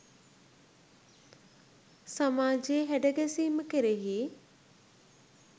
සමාජයේ හැඩ ගැසීම කෙරෙහි